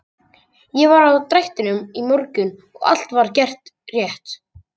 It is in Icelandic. Ég var á drættinum í morgun og allt var gert rétt.